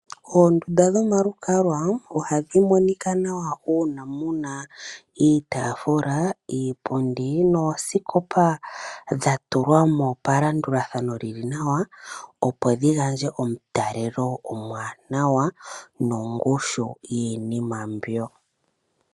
Oondunda dhomalukalwa ohadhi monika nawa uuna mu na iitaafula, iipundi noosikopa dha tulwa mo palandulathano li li nawa, opo dhi gandje omutalelo omuwanawa nongushu yiinima mbyoka.